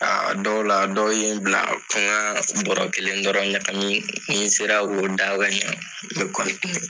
Aa dɔw la dɔw ye n bila ko n ka bɔrɔ kelen dɔrɔn ɲakami ni n sera ko da ka ɲa n be .